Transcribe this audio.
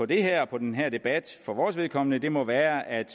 det her og på den her debat for vores vedkommende må være at